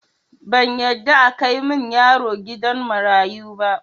Ban yarda akai min yaro gidan marayu ba